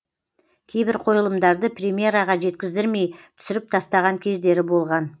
кейбір қойылымдарды премьераға жеткіздірмей түсіріп тастаған кездері болған